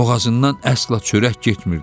Boğazından əsla çörək getmirdi.